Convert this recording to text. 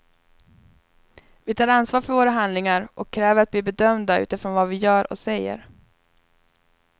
Vi tar ansvar för våra handlingar och kräver att bli bedömda utifrån vad vi gör och säger.